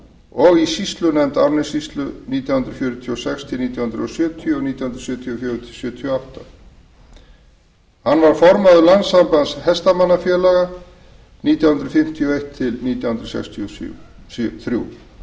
og í sýslunefnd árnessýslu nítján hundruð fjörutíu og sex til nítján hundruð sjötíu og nítján hundruð sjötíu og fjögur til nítján hundruð sjötíu og átta formaður landssambands hestamannafélaga var hann nítján hundruð fimmtíu og eitt til nítján hundruð sextíu og þrjú